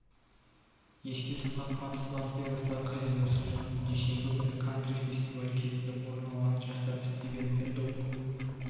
еске салсақ атыс лас-вегастағы казиносы жанында дүйсенбі күні кантри фестивалі кезінде орын алған жасар стивен пэддок